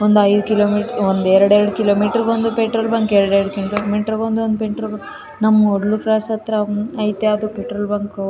ಒಂದೈದು ಕಿಲೋಮೀಟರು ಒಂದು ಎರಡೆರಡು ಕಿಲೋಮೀಟರು ಗೆ ಒಂದು ಪೆಟ್ರೋಲ್ ಬಂಕ್ ಎರಡೆರಡು ಕಿಲೋಮೀಟರು ಗೆ ಒಂದು ಪೆಟ್ರೋಲ್ ಬಂಕ್ ನಮ್ಮೂರು ಕ್ರಾಸ್ ಹತ್ರ ಐತೆ ಅದು ಪೆಟ್ರೋಲ್ ಬಂಕ್ .